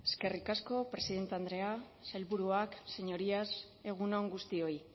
eskerrik asko presidente andrea sailburuak señorías egun on guztioi